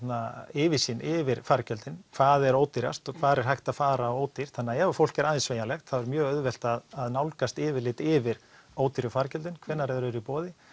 yfirsýn yfir fargjöldin hvað er ódýrast og hvar er hægt að fara ódýrt þannig að ef að fólk er aðeins sveigjanlegt þá er mjög auðvelt að nálgast yfirlit yfir ódýru fargjöldin hvenær þau eru í boði